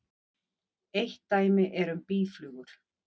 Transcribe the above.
Eitt dæmi er um býflugur.